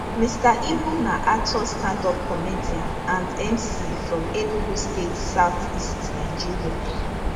mr ibu na actor standup comedian and mc from enugu state southeast nigeria